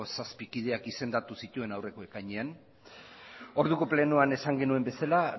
zazpi kideak izendatu dituen aurreko ekainean orduko plenoan esan genuen bezala